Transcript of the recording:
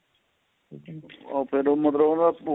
ਫ਼ੇਰ ਉਹ ਮਤਲਬ ਉਹਦਾ